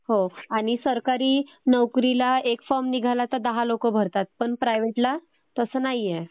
हो.आणि सरकारी नोकरीला एक फॉर्म निघाला तर दहा लोक भरतात. पण प्रायव्हेटला तसं नाहीए.